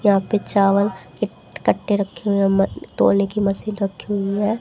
यहां पे चावल एट कट्टे रखे है मन तौले की मशीन रखी हुई है।